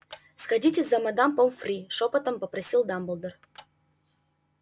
сходите за мадам помфри шёпотом попросил дамблдор